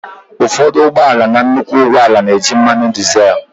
ụfọdụ ụgbọ ala na nnukwu ụgbọ ala na-eji mmanụ dizel